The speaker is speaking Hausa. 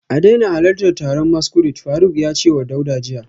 A daina halartar taron masquerade, Faruk ya ce wa Dauda jiya